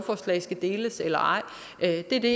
er kan det